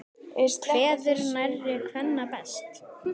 Kveður nærri kvenna best.